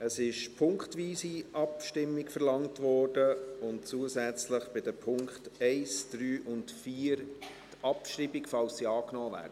Es wurde punktweise Abstimmung verlangt, und zusätzlich bei den Punkten 1, 3 und 4 die Abschreibung, falls sie angenommen werden.